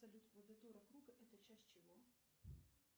салют квадратура круга это часть чего